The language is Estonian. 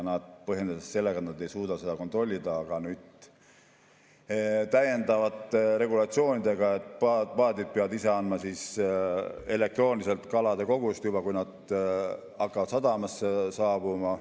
Nad põhjendasid seda sellega, et nad ei suuda seda kontrollida, aga nüüd on täiendavad regulatsioonid, et paadid peavad ise andma elektrooniliselt kalade koguseid, kui nad hakkavad sadamasse saabuma.